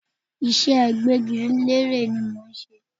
Ìṣe gbẹ́gilére ni mò ń ṣe.